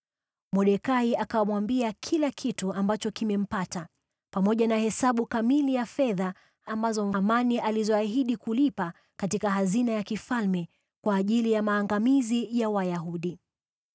Mordekai akamwambia kila kitu ambacho kimempata, pamoja na hesabu kamili ya fedha ambazo Hamani aliahidi kulipa katika hazina ya mfalme kwa ajili ya maangamizi ya Wayahudi.